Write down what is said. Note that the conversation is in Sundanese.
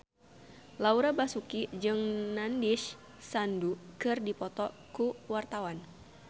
Laura Basuki jeung Nandish Sandhu keur dipoto ku wartawan